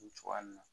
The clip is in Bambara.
Cogoya min na